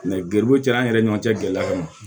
garibu ti an ni ɲɔgɔn cɛ gɛlɛya kama